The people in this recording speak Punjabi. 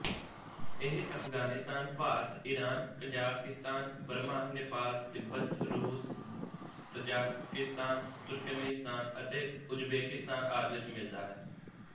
ਇਹ ਅਫਗਾਨਿਸਤਾਨ ਭਾਰਤਈਰਾਨਕਜ਼ਾਕਿਸਤਾਨ ਬਰਮਾਨੇਪਾਲ ਤਿੱਬਤ ਰੂਸਤਜਾਕਿਸਤਾਨਤੁਰਕੇਮੀਸਤਾਨ ਅਤੇ ਉਜ਼ਬੇਕਿਸਤਾਨ ਆਦਿ ਵਿੱਚ ਮਿਲਦਾ ਹੈ